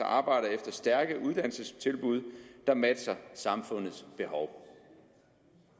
arbejder efter stærke uddannelsestilbud der matcher samfundets behov